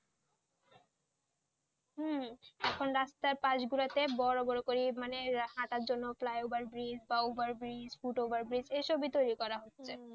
হম এখন রাস্তার পাশ গুলোতে বড় বড় করে মানে হাঁটার জন্য flyover bridge overbridge foot overbridge এইসব করা হচ্ছে,